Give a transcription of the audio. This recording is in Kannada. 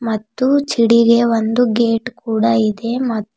ಮತ್ತು ಚಿಡಿಗೆ ಒಂದು ಗೇಟ್ ಕೂಡ ಇದೆ ಮತ್ತು--